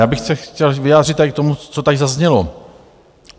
Já bych se chtěl vyjádřit tady k tomu, co tady zaznělo.